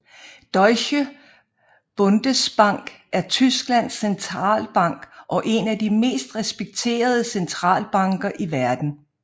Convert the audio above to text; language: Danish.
Deutsche Bundesbank er Tysklands centralbank og en af de mest respekterede centralbanker i verden